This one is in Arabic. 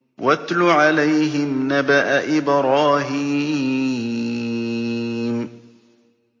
وَاتْلُ عَلَيْهِمْ نَبَأَ إِبْرَاهِيمَ